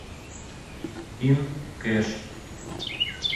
ин кэш